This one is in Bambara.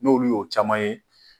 N'olu y'o caman ye